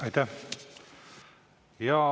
Aitäh!